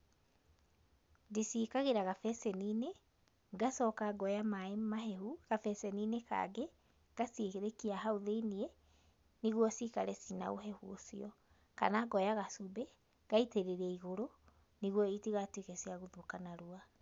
Ndĩciĩkagĩra gabeceni-inĩ, ngacooka ngoya maĩ mahehu gabeceni-inĩ kangĩ, ngacirekia thĩinĩ nĩguo cikare ciĩ na ũhehu ũcio, kana ngoya gacumbĩ ngaitĩrĩria igũrũ nĩguo itigatuĩke ciagũthũka narua.